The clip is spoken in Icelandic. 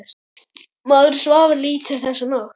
Maður svaf lítið þessa nótt.